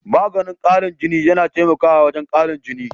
Maganin karin jini, yana taimaka wajen karin jini.